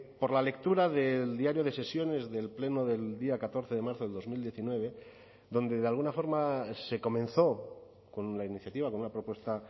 por la lectura del diario de sesiones del pleno del día catorce de marzo del dos mil diecinueve donde de alguna forma se comenzó con la iniciativa con una propuesta